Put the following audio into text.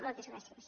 moltes gràcies